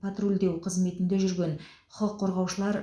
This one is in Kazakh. патрульдеу қызметінде жүрген құқық қорғаушылар